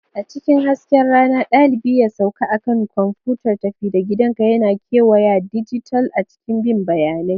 A cikin hasken rana, dalibi ya sauka a kan kwamfutar tafi-da-gidanka yana kewayawa dijital a cikin bin bayanai.